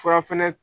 Fura fɛnɛ